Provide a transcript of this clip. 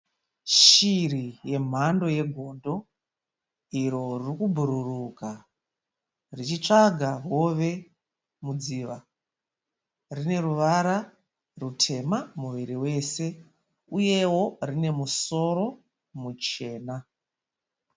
Shiri yemhando yegondo iro riri kubhururuka richitsvaga hove mudziva. Rine ruvara rutema muviri wose uyewo rine musoro muchena.